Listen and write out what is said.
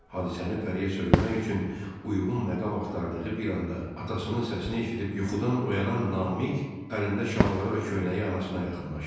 Hadisəni Pəriyə söyləmək üçün uyğun məqam axtardığı bir anda atasının səsini eşidib yuxudan oyanan Namiq əlində şalvarı və köynəyi anasına yaxınlaşdı.